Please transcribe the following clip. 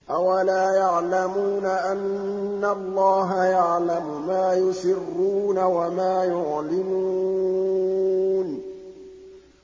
أَوَلَا يَعْلَمُونَ أَنَّ اللَّهَ يَعْلَمُ مَا يُسِرُّونَ وَمَا يُعْلِنُونَ